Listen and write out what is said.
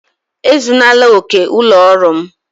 Ezunala ókè ụlọ ọrụ m!